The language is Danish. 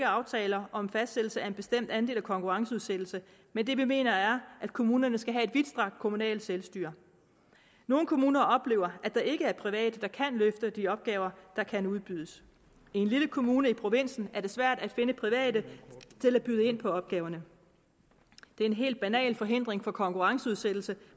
aftaler om fastsættelse af en bestemt andel af konkurrenceudsættelse men det vi mener er at kommunerne skal have et vidtstrakt kommunalt selvstyre nogle kommuner oplever at der ikke er private der kan løfte de opgaver der kan udbydes i en lille kommune i provinsen er det svært at finde private til at byde ind på opgaverne det er en helt banal forhindring for konkurrenceudsættelse